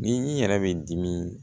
Ni i yɛrɛ bɛ dimi